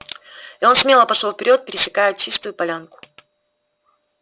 и он смело пошёл вперёд пересекая чистую полянку